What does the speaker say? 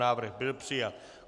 Návrh byl přijat.